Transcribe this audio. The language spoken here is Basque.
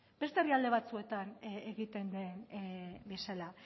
beste herrialde batzuetan egiten den bezala